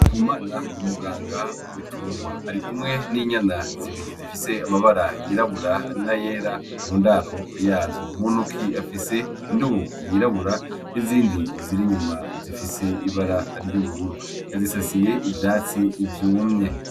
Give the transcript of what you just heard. Ndikumana n'umuganga w'ibitungwa ari kumwe n'inyana zibiri zifise amabara y'irabura na yera mu ndaro yazo, mu ntoki afise indobo y'irabura nizindi ziri inyuma zifise ibara ry'ubururu yazisasiye ivyatsi vyumye.